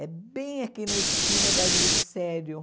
É bem aqui na esquina da Grissério.